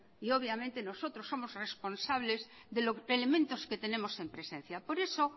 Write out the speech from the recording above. y obviamente nosotros somos responsables de los elementos que tenemos en presencia por eso